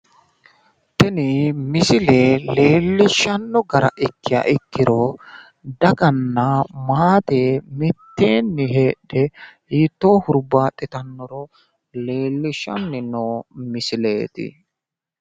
Tini misile leellishshanno gara ikkiha ikkiro daganna maate mitteenni heedhe hiittoonni hurbaaxitannoro leellishshanni noo misileeti.